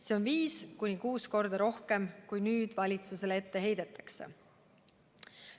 Seda on viis-kuus korda rohkem, kui praegu valitsusele ette heidetakse.